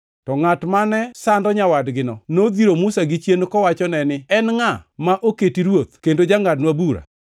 “To ngʼat mane sando nyawadgino nodhiro Musa gichien kowachone ni, ‘En ngʼa ma oketi ruoth kendo jangʼadnwa bura?